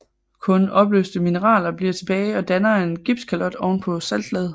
Kun opløste mineraler bliver tilbage og danner en gipskalot oven på saltlaget